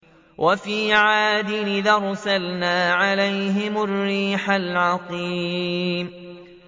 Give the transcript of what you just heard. وَفِي عَادٍ إِذْ أَرْسَلْنَا عَلَيْهِمُ الرِّيحَ الْعَقِيمَ